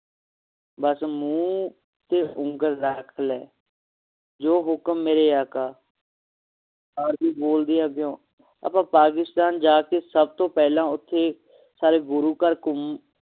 ਬਸ ਮੂੰਹ ਤੇ ਉਂਗਲ ਰੱਖ ਲਈ ਜੋ ਹੁਕਮ ਮੇਰੇ ਆਕਾ ਆਰਜ਼ੂ ਬੋਲਦੀ ਹੈ ਅੱਗੋਂ ਆਪਾਂ ਪਾਕਿਸਤਾਨ ਜਾ ਕੇ ਸਭ ਤੋਂ ਪਹਿਲਾਂ ਓਥੇ ਗੁਰੂ ਘਰ ਘੁੰਮੂ